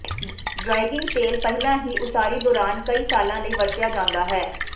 ਡ੍ਰਾਇੰਗਿੰਗ ਤੇਲ ਪਹਿਲਾਂ ਹੀ ਉਸਾਰੀ ਦੌਰਾਨ ਕਈ ਸਾਲਾਂ ਲਈ ਵਰਤਿਆ ਜਾਂਦਾ ਹੈ